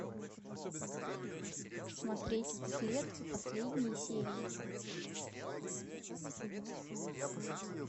смотреть след последние серии